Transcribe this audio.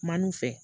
Man'u fɛ